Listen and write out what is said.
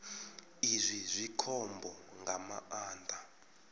izwi zwi khombo nga maanḓa